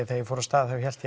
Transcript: þegar ég fór af stað þá hélt